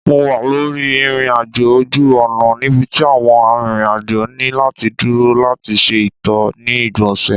Mo wa lori irin-ajo oju-ọna nibiti awọn arinrin-ajo ni lati duro lati ṣe ito ni igbonse